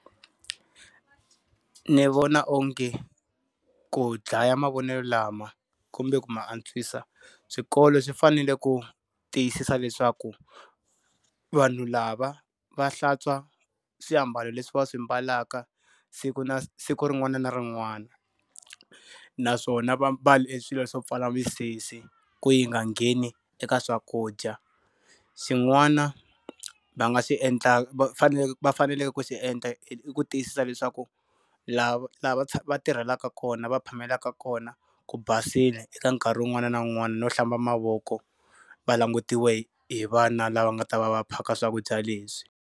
Ni vona onge ku dlaya mavonelo lama kumbe ku ma antswisa swikolo swi fanele ku tiyisisa leswaku vanhu lava va hlantswa swiambalo leswi va swi ambalaka siku na siku rin'wana na rin'wana. Naswona va mbale swilo swo pfala misisi ku yi nga ngheni eka swakudya. Xin'wana va nga xi endlaka va fanele va faneleke ku xi endla i ku tiyisisa leswaku, la va lava va tirhelaka kona va phamelaka kona, ku basile eka nkarhi wun'wana na wun'wana no hlamba mavoko va langutiwe hi vana lava nga ta va va phaka swakudya leswi.